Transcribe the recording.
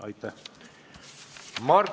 Aitäh!